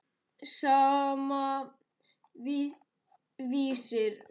Sama, Vísir.